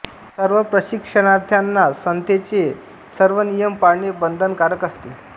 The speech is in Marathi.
सर्व प्रशिक्षाणार्त्यांना संथेचे सर्व नियम पाळणे बंधन कारक असते